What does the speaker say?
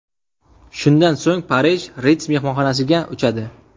Shundan so‘ng Parij, Ritz mehmonxonasiga uchadi.